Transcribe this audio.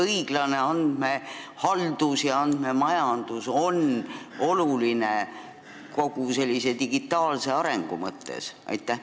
Õiglane andmehaldus ja andmemajandus on ju kogu meie digitaalse arengu mõttes oluline.